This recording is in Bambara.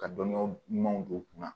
Ka dɔnniya ɲumanw don u kun na